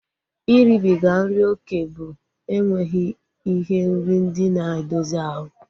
Iribiga nri oké bụ enweghị ihe nri ndị na-edozi ahu